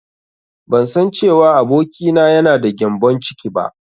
Bansan cewa abokina yana da gyambon ciki ba.